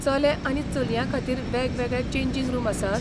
चले आनी चलयां खातीर वेगवेगळे चेंजिंग रूम आसात?